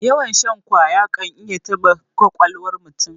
Yawan shan ƙwaya kan iya taɓa ƙwaƙwalwar mutum.